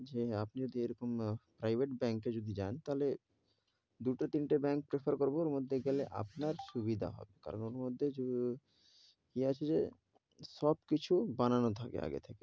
যে আপনি যদি এরকম private ব্যাঙ্ক এ যদি যান, তাহলে দুটো, তিনটে, ব্যাঙ্ক prefer করবো ওর মধ্যে গেলে আপনার সুবিধা হবে, কারণ ওর মধ্যে ও কি আছে যে সব কিছু বানানো থাকে আগে থেকে,